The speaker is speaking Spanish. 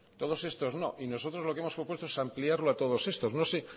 estos no y nosotros lo que hemos propuesto es ampliarlo a todos esos no sé